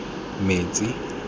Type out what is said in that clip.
metsi